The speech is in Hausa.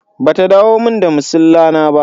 Ba ta dawo mun da masilla na ba.